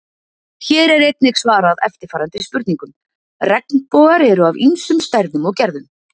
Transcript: Hér er einnig svarað eftirfarandi spurningum: Regnbogar eru af ýmsum stærðum og gerðum.